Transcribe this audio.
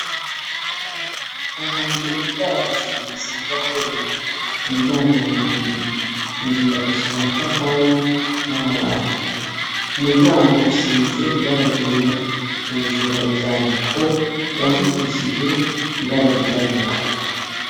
Ahantu uwutwara agacimbira asanzwe akorera umuryango uruguruye inzu yubakishijwe amatafari namabati umuryango usize ibara ryera hejuru hari ivyandiko vyandikishije ibara ryirabura